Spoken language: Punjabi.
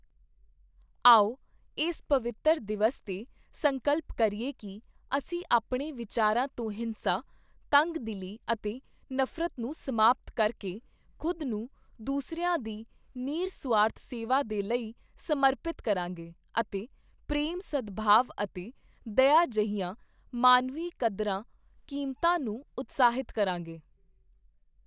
ਆਓ, ਇਸ ਪਵਿੱਤਰ ਦਿਵਸ ਤੇ ਸੰਕਲਪ ਕਰੀਏ ਕਿ ਅਸੀਂ ਆਪਣੇ ਵਿਚਾਰਾਂ ਤੋਂ ਹਿੰਸਾ, ਤੰਗ-ਦਿਲੀ ਅਤੇ ਨਫ਼ਰਤ ਨੂੰ ਸਮਾਪਤ ਕਰਕੇ, ਖ਼ੁਦ ਨੂੰ ਦੂਸਰਿਆਂ ਦੀ ਨਿਰ-ਸੁਆਰਥ ਸੇਵਾ ਦੇ ਲਈ ਸਮਰਪਿਤ ਕਰਾਂਗੇ ਅਤੇ ਪ੍ਰੇਮ, ਸਦਭਾਵ ਅਤੇ ਦਇਆ ਜਿਹੀਆਂ ਮਾਨਵੀ ਕਦਰਾਂ ਕੀਮਤਾਂ ਨੂੰ ਉਤਸ਼ਾਹਿਤ ਕਰਾਂਗੇ।